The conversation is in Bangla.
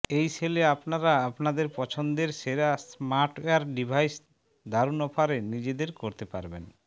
এই সেলে আপনারা আপনাদের পছন্দের সেরা স্মার্টওয়্যার ডিভাইস দারুন অফারে নিজের করতে পারবেন